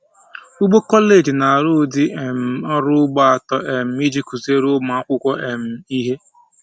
Ugbo kọleji na-arụ ụdị um ọrụ ugbo atọ um iji kụziere ụmụ akwụkwọ um ihe